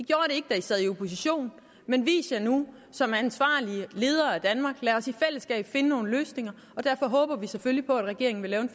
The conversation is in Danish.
sad i opposition men vis jer nu som ansvarlige ledere af danmark lad os i fællesskab finde nogle løsninger derfor håber vi selvfølgelig på at regeringen vil lave en